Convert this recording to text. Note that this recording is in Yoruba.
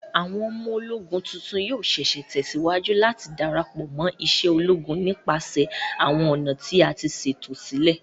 Awọn ọmọ-ologún tuntun yoo ṣee ṣe tẹsiwaju lati darapọ mo ise ologun nipasẹ awọn ọna ti a ṣeto silẹ